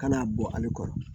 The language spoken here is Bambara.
Kana bɔ ale kɔrɔ